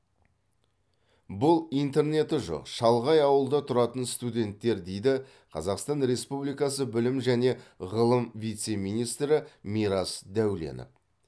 бұл интернеті жоқ шалғай ауылда тұратын студенттер дейді қазақстан республикасы білім және ғылым вице министрі мирас дәуленов